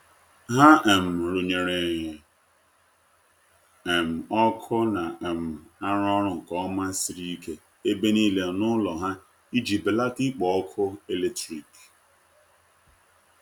ha um runyere um ọkụ na um arụ orụ nke oma siri ike ebe nile n'ulo ha iji belata ikpo ọkụ eletrikị